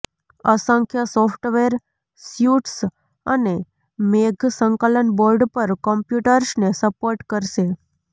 અસંખ્ય software suites અને મેઘ સંકલન બોર્ડ પર કમ્પ્યુટર્સને સપોર્ટ કરશે